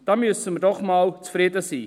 Da müssen wir doch einmal zufrieden sein.